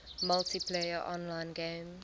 multiplayer online games